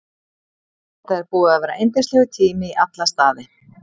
Þetta er búið að vera yndislegur tími í alla staði.